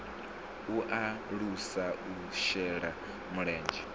u alusa u shela mulenzhe